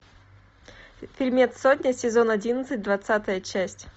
фильмец сотня сезон одиннадцать двадцатая часть